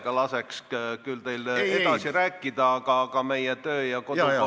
Ma laseksin küll heameelega teil edasi rääkida, aga kahjuks meie kodu- ja töökorra seadus seda ei luba.